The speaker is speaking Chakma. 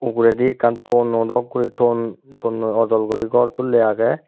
uguredi ekkan thono dok guri thon thonnoi ojol guri gor tulley agey.